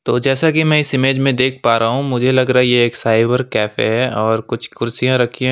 और जैसा कि मैं इस इमेज़ में देख पा रहा हूँ मुझे लग रहा है ये एक साइबर कैफे है और कुछ कुर्सियां रखीं हैं।